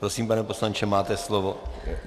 Prosím, pane poslanče, máte slovo.